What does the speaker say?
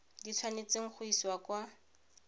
di tshwanetseng go isiwa kwa